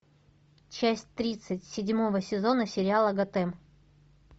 часть тридцать седьмого сезона сериала готэм